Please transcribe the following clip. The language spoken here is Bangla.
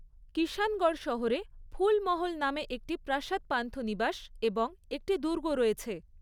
কিষাণগড় শহরে ফুল মহল নামে একটি প্রাসাদ পান্থনিবাস এবং একটি দুর্গ রয়েছে।